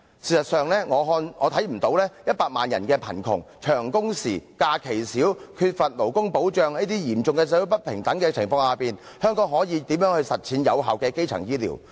事實上，我未能看到在100萬人的貧窮、長工時、假期少、缺乏勞工保障，這種嚴重社會不平等的情況下，香港可以如何實踐有效的基層醫療服務。